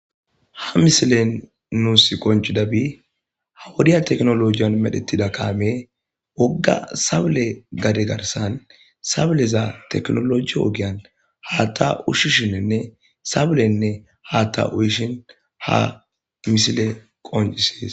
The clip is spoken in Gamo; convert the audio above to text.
Ha misilen nuus qonciday ha'i wodiya tekinolojiyan medhetida kamey woga sawule gadiya garsan sawuleza hata ushishene sawulene hata ushin ha misiley qoncises.